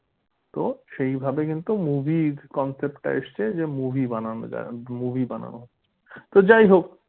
তো সেই ভাবে কিন্তু movie র concept টা এসছে যে movie বানানো যায় movie বানানো হচ্ছে ত যাই হোক।